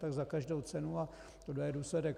Tak za každou cenu a tohle je důsledek.